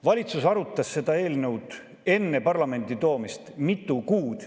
Valitsus arutas seda eelnõu enne parlamenti toomist mitu kuud.